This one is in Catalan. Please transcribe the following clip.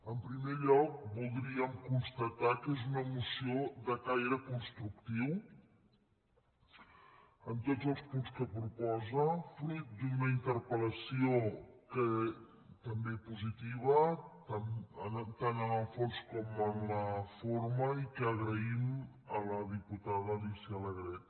en primer lloc voldríem constatar que és una moció de caire constructiu en tots els punts que proposa fruit d’una interpel·en la forma i que agraïm a la diputada alicia alegret